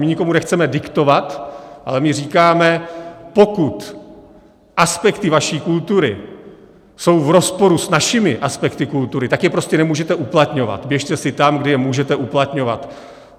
My nikomu nechceme diktovat, ale my říkáme: pokud aspekty vaší kultury jsou v rozporu s našimi aspekty kultury, tak je prostě nemůžete uplatňovat, běžte si tam, kde je můžete uplatňovat.